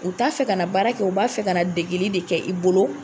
U t'a fɛ ka na baara kɛ, u b'a fɛ ka na degeli de kɛ i bolo.